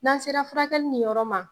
N'an sera furakɛli niyɔrɔ ma